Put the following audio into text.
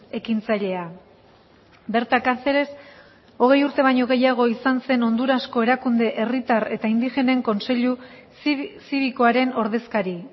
ekintzailea berta caceres hogei urte baino gehiago izan zen hondurasko erakunde herritar eta indigenen kontseilu zibikoaren ordezkari